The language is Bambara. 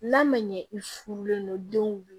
N'a ma ɲɛ i furulen don denw